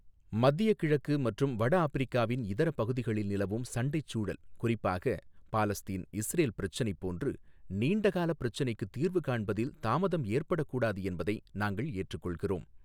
மத்திய கிழக்கு மற்றும் வடஆப்பிரிக்காவின் இதரப் பகுதிகளில் நிலவும் சண்டைச்சூழல் குறிப்பாக பாலஸ்தீன், இஸ்ரேல் பிரச்சினைப் போன்று நீண்ட கால பிரச்சினைக்கு தீர்வு காண்பதில் தாமதம் ஏற்பட கூடாது என்பதை நாங்கள் ஏற்றுக்கொள்கிறோம்.